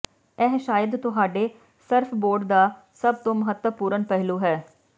ਇਹ ਸ਼ਾਇਦ ਤੁਹਾਡੇ ਸਰਫਬੋਰਡ ਦਾ ਸਭ ਤੋਂ ਮਹੱਤਵਪੂਰਣ ਪਹਿਲੂ ਹੈ